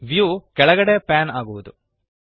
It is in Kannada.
ವ್ಯೂ ಕೆಳಗಡೆಗೆ ಪ್ಯಾನ್ ಆಗುವದು